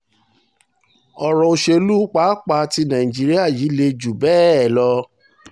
ọ̀rọ̀ òṣèlú pàápàá tí nàìjíríà yìí le jù bẹ́ẹ̀ lọ